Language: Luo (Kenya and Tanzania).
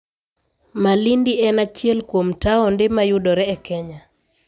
Malindi en achiel kuom taonde ma yudore e Kenya.